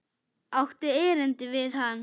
Áttu erindi við hann?